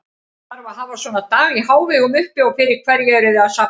Þarf að hafa svona dag í hávegum uppi og fyrir hverju eruð þið að safna?